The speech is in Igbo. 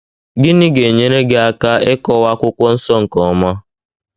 Gịnị ga - enyere gị aka ịkọwa Akwụkwọ Nsọ nke ọma?